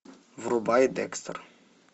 врубай декстер